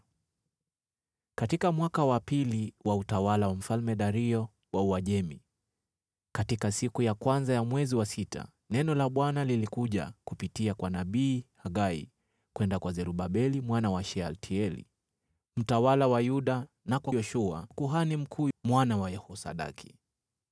Katika mwaka wa pili wa utawala wa Mfalme Dario wa Uajemi, katika siku ya kwanza ya mwezi wa sita, neno la Bwana lilikuja kupitia kwa nabii Hagai kwenda kwa Zerubabeli mwana wa Shealtieli, mtawala wa Yuda na kwa Yoshua mwana wa kuhani mkuu Yehosadaki: